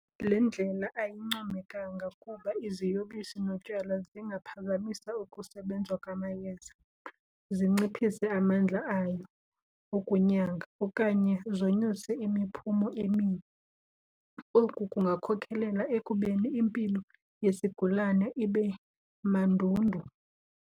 Le ndlela ayincomekanga kuba iziyobisi notywala zingaphazamisa ukusebenza kwamayeza, zinciphise amandla ayo okunyanga okanye zonyuse imiphumo emibi. Oku kungakhokhelela ekubeni impilo yesigulana ibe mandundu.